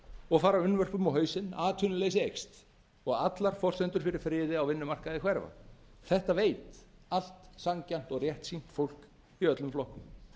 og fara unnvörpum á hausinn atvinnuleysi eykst og allar forsendur fyrir friði á vinnumarkaði hverfa þetta veit allt sanngjarnt og réttsýnt fólk í öllum flokkum